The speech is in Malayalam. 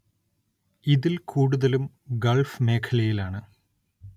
ഇതില്‍ കൂടുതലും ഗള്‍ഫ് മേഖലയില്‍ ആണ്‌